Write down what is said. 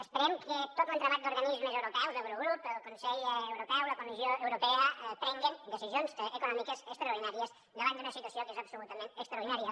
esperem que tot l’entramat d’organismes europeus l’eurogrup el consell europeu la comissió europea prenguen decisions econòmiques extraordinàries davant d’una situació que és absolutament extraordinària